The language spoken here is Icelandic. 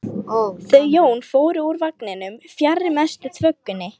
Þau Jón fóru úr vagninum fjarri mestu þvögunni.